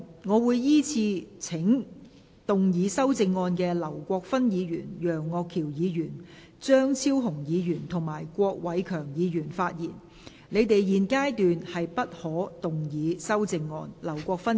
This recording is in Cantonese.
我會依次請要動議修正案的劉國勳議員、楊岳橋議員、張超雄議員及郭偉强議員發言；但他們在現階段不可動議修正案。